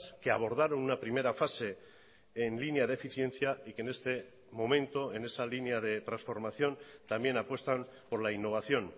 que abordaron una primera fase en línea de eficiencia y que en este momento en esa línea de transformación también apuestan por la innovación